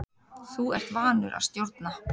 Þú ert vanur að stjórna.